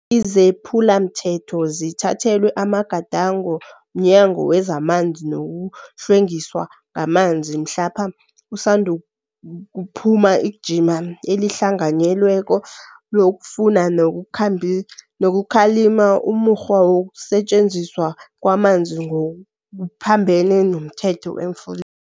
Izephulamthetho zithathelwa amagadango mNyango wezamanzi nokuHlwengisa ngamanzi mhlapha usandukuphuma ijima elihlanganyelweko lokufuna nokukhalima umukghwa wokusetjenziswa kwamanzi ngokuphambene nomthetho emfuleni.